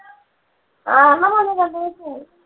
ആ ഇവിടെ വന്ന് രണ്ടുമൂന്ന് ദിവസം നിന്നു.